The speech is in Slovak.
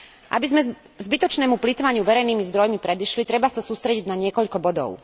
Aby sme zbytočnému plytvaniu verejnými zdrojmi predišli, treba sa sústrediť na niekoľko bodov.